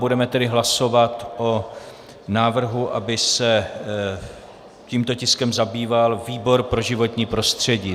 Budeme tedy hlasovat o návrhu, aby se tímto tiskem zabýval výbor pro životní prostředí.